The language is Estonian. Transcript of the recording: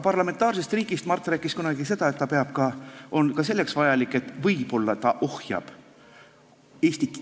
Parlamentaarsest riigist rääkis Mart kunagi seda, et see on ka selleks vajalik, et võib-olla see ohjab Eestis ...